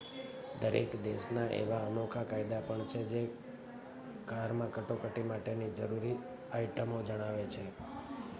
દરેક દેશના એવા અનોખા કાયદા પણ છે જે કારમાં કટોકટી માટેની જરૂરી આઇટમો જણાવે છે